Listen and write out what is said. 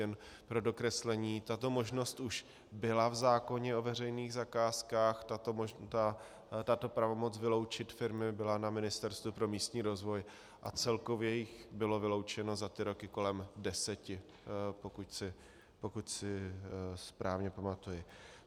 Jen pro dokreslení, tato možnost už byla v zákoně o veřejných zakázkách, tato pravomoc vyloučit firmy byla na Ministerstvu pro místní rozvoj a celkově jich bylo vyloučeno za ty roky kolem deseti, pokud si správně pamatuji.